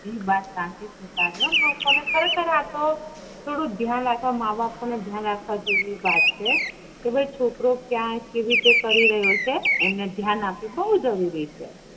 એ વાત સાચી છે તારી હો લોકો ને ખરે-ખર આતો થોડું ધ્યાન રાખવા મા બપો ને ધ્યાન રાખવા જેવી વાત છે કે છોકરો ક્યાં કેવી રીતે કરી રહ્યો છે એમને ધ્યાન આપવું બવ જરૂરી છે